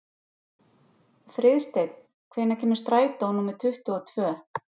Friðsteinn, hvenær kemur strætó númer tuttugu og tvö?